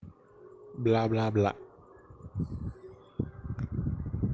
бла бла бла